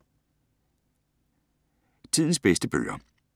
Tidens bedste bøger